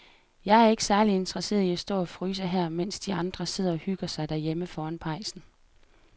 Jeg er ikke særlig interesseret i at stå og fryse her, mens de andre sidder og hygger sig derhjemme foran pejsen.